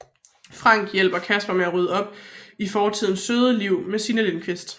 Frank hjælper Casper med at rydde op i fortidens søde liv med Signe Lindkvist